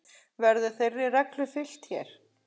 Verður þeirri reglu fylgt hér.